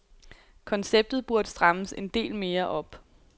Konceptet burde strammes en del mere op.